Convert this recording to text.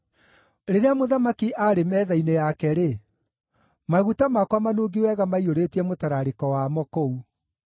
Rĩrĩa mũthamaki aarĩ metha-inĩ yake-rĩ, maguta makwa manungi wega maiyũrĩtie mũtararĩko wamo kũu.